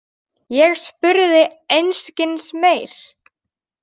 Ég spurði einskis meir.